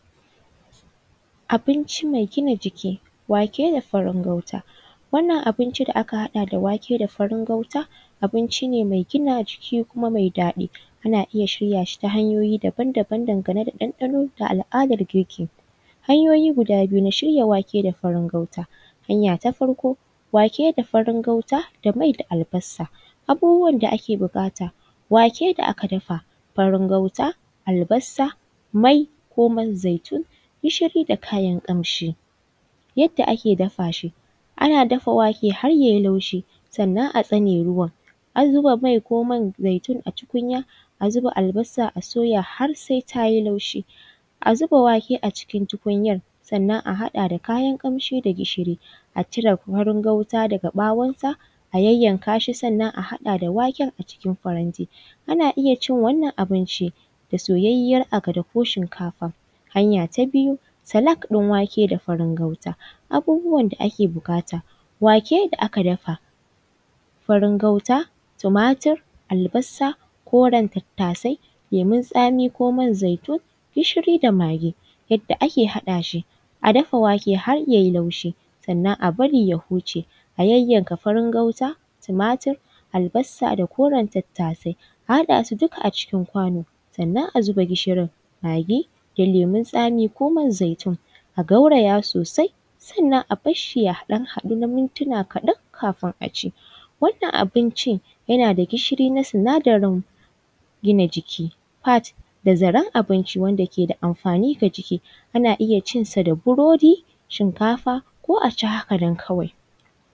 Abinci mai gina jiki wake da farin gauta, wannan abinci da aka haɗa da wake da farin gauta abinci ne mai gina jiki kuma mai ɗadi ana iya shirya shi ta hanyoyi daban-daban dangane da ɗanɗano da al’adar girki, hanyoyi guda biyu na shirya wake da farin gauta, hanya ta farko wake da farin gauta da mai da albasa, abubuwan da ake bukata wake da aka dafa, farin gauta, albasa, mai, ko man zaitu, gishiri da kayan kamshi, yadda ake dafa shi, ana dafa wake har yayi laushi sannan a tsane ruwan an ruba mai ko man zaitu a cikin tukunya a zuba albasa a soya har sai tayi laushi a zuba wake a cikin tukunyar sannan a haɗa da kayan kamshi da gishiri a cire farin gauta daga ɓawon ta a yayyanka shi sannan a haɗa da waken a cikin faranti ana iya cin wannan abinci da soyayyan akada ko shinkafa, hanya ta biyu salat ɗin wake da farin gauta abubuwan da ake bukata, wake da aka dafa farin gauta tumatur albasa Koran tattasai lemon tsami ko man zaitu, gishiri da magi, yadda ake haɗa shi a dafa wake har yayi laushi sannan a bari ya huce a yayyanka farin gauta tumatur albasa da koren tattasai a haɗa su duka a cikin kwano sannan a zuba gishiri da lemon tsami ko man zaitu a gauraya sosai sannan a barshi ya ɗan daɗu na mintuna kaɗan kafin a ci wannan abinci yana da gishiri na sinadarin gina jiki fat da zaran abinci wanda kada amfani ga jiki ana iya cinsa burodi, shinkafa ko a ci haka nan kawai.